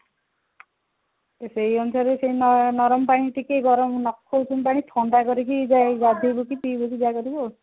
ସେଇ ଅନୁସାରେ ସେଇ ଗରମ ପାଣି ଗରମ ନଖଉଷୁମ ପାଣି ଥଣ୍ଡା କରିକି ଯାଇ ଗାଧେଇବ କି ପିବ କି ଯାହା କରିବ